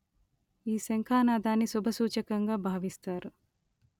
ఈ శంఖానాదాన్ని శుభ సూచకంగా భావిస్తారు